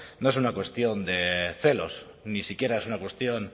no es una cuestión de celos ni siquiera es una cuestión